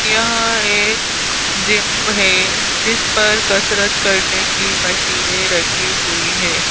यहां एक जिम है जिस पर कसरत करने की मशीनें रखी हुई है।